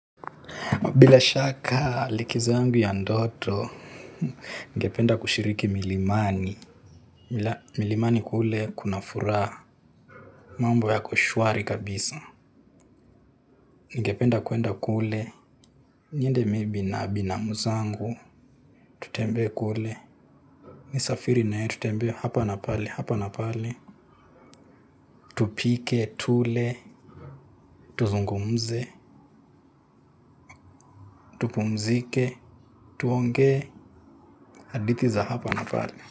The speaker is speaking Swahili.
Bilashaka likizo yangu ya ndoto, ningependa kushiriki milimani. Milimani kule kuna furaha mambo yako shwari kabisa. Ningependa kwenda kule, niende may be na binamu zangu, tutembee kule. Nisafiri naye tutembee hapa na pale, hapa na pale. Tupike, tule, tuzungumze, tupumzike, tuongee, hadithi za hapa na pale.